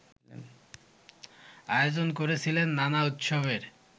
আয়োজন করেছিলেন নানা উৎসবের